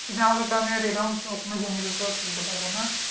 কিন্তু আমাদের তো এইরকম শুকনা জমিতে তো ফেলতে পারবো না